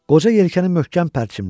Qoca yelkəni möhkəm pərçimlədi.